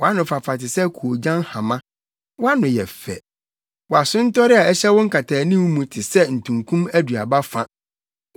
Wʼanofafa te sɛ koogyan hama; wʼano yɛ fɛ. Wʼasontɔre a ɛhyɛ wo nkataanim mu te sɛ ntunkum aduaba fa.